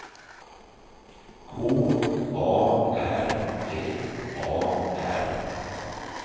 K A R L A R